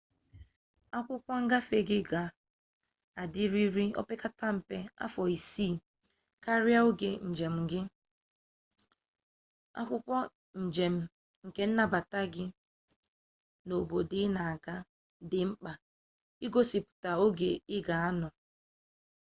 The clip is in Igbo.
akwụkwọ ngafe gị ga adịrịrị ire opekarịa mpe afọ isii karịa oge njem gị akwụkwọ njem kennabata n'obodo ị na-aga dị mkpa igosipụta ogo ị ga-anọ